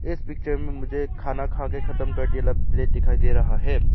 इस पिक्चर में मुझे खाना खाके खत्म कर देला प्लेट दिखाई दे रहा है।